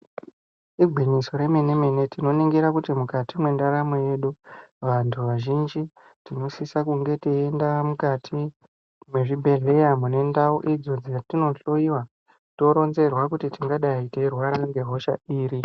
Igwinyiso remene mene tinoningira kuti mukati mwendaramo yedu vantu vazhinji tinosisa kunge teiende mukati mwezvibhedhleya mune ndau idzo dzatinohloyiwa toronzerwa kuti tingadai teirwara ngehosha iri.